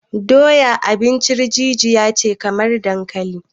Doya abincin jijiya ce kamar dankali